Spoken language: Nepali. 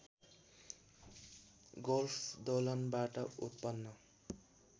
गोल्फ दोलनबाट उत्पन्न